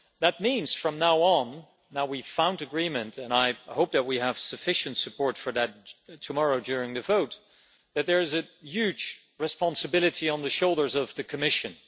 That means, from now on, now that we have found agreement and I hope that we have sufficient support tomorrow during the vote that there is a huge responsibility on the shoulders of the Commission.